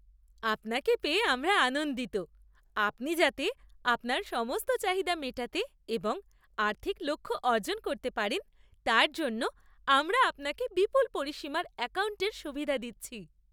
আপনাকে পেয়ে আমরা আনন্দিত। আপনি যাতে আপনার সমস্ত চাহিদা মেটাতে এবং আর্থিক লক্ষ্য অর্জন করতে পারেন, তার জন্য আমরা আপনাকে বিপুল পরিসীমার অ্যাকাউন্টের সুবিধা দিচ্ছি।